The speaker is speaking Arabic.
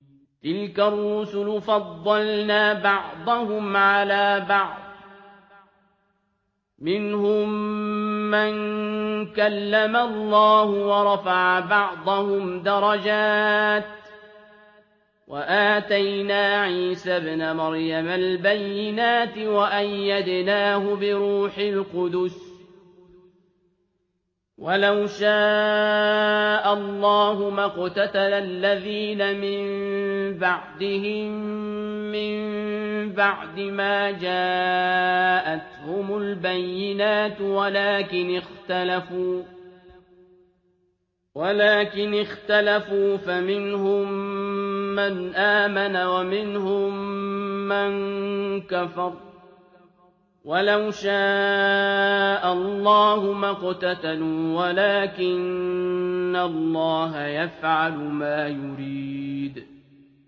۞ تِلْكَ الرُّسُلُ فَضَّلْنَا بَعْضَهُمْ عَلَىٰ بَعْضٍ ۘ مِّنْهُم مَّن كَلَّمَ اللَّهُ ۖ وَرَفَعَ بَعْضَهُمْ دَرَجَاتٍ ۚ وَآتَيْنَا عِيسَى ابْنَ مَرْيَمَ الْبَيِّنَاتِ وَأَيَّدْنَاهُ بِرُوحِ الْقُدُسِ ۗ وَلَوْ شَاءَ اللَّهُ مَا اقْتَتَلَ الَّذِينَ مِن بَعْدِهِم مِّن بَعْدِ مَا جَاءَتْهُمُ الْبَيِّنَاتُ وَلَٰكِنِ اخْتَلَفُوا فَمِنْهُم مَّنْ آمَنَ وَمِنْهُم مَّن كَفَرَ ۚ وَلَوْ شَاءَ اللَّهُ مَا اقْتَتَلُوا وَلَٰكِنَّ اللَّهَ يَفْعَلُ مَا يُرِيدُ